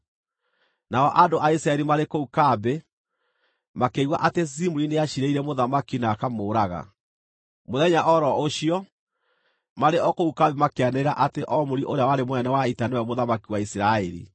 Nao andũ a Isiraeli maarĩ kũu kambĩ makĩigua atĩ Zimuri nĩaciirĩire mũthamaki na akamũũraga. Mũthenya o ro ũcio, marĩ o kũu kambĩ makĩanĩrĩra atĩ Omuri ũrĩa warĩ mũnene wa ita nĩwe mũthamaki wa Isiraeli.